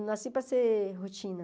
Eu não nasci para ser rotina.